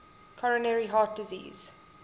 coronary heart disease